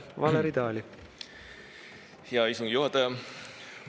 Hea istungi juhataja!